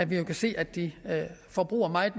vi jo kan se at de forbruger meget